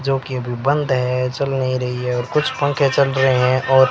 जो कि अभी बंद है चल नहीं रही है और कुछ पंखे चल रहे हैं और--